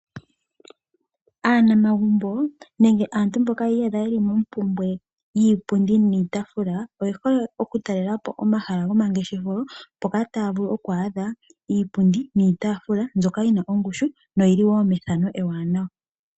Aanamagumbo nenge aantu mboka yiiyadha yeli mompumbwe yiipundi niitaafula oye hole oku talelapo omahala gomangeshefelo mpoka taavulu okwaadha iipundi niitafa mbyoka yina ongushu noyili wo methano ewanawa.